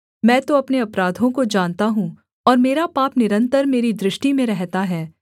मैं तो अपने अपराधों को जानता हूँ और मेरा पाप निरन्तर मेरी दृष्टि में रहता है